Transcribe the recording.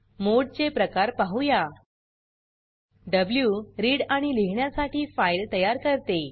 मोडचे प्रकार पाहूया व्ही रीड आणि लिहिण्यासाठी फाइल तयार करते